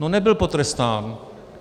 No, nebyl potrestán.